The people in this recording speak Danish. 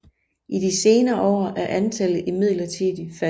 I de senere år er antallet imidlertid faldet